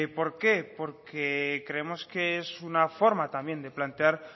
por qué porque creemos que es una forma también de plantear